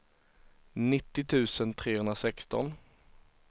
nittio tusen trehundrasexton